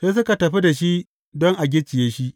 Sai suka tafi da shi don a gicciye shi.